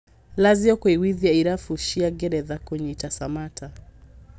Lazio kũiguithia irabu cia ngeretha kũnyita Samatta